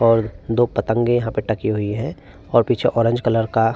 और दो पतंगे यहाँ पे टकी हुई हैं और पीछे ऑरेंज कलर का --